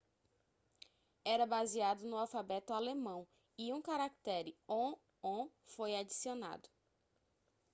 era baseado no alfabeto alemão e um caractere õ/õ foi adicionado